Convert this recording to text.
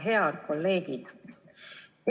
Head kolleegid!